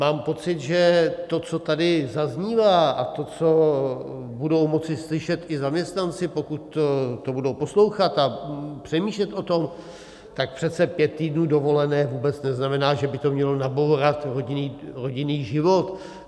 Mám pocit, že to, co tady zaznívá, a to, co budou moci slyšet i zaměstnanci, pokud to budou poslouchat a přemýšlet o tom, tak přece pět týdnů dovolené vůbec neznamená, že by to mělo nabourat rodinný život.